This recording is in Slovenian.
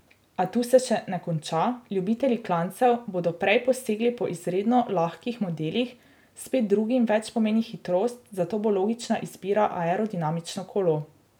A tu se še ne konča, ljubitelji klancev bodo prej posegli po izredno lahkih modelih, spet drugim več pomeni hitrost, zato bo logična izbira aerodinamično kolo.